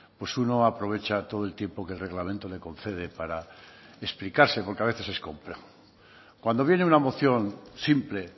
pues uno aprovecha todo el tiempo que el reglamento le concede para explicarse porque a veces es complejo cuando viene una moción simple